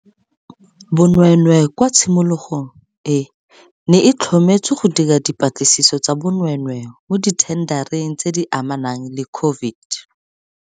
Bonweenwee kwa tshimologong e ne e tlhometswe go dira dipa tlisiso tsa bonweenwee mo dithendareng tse di amanang le COVID.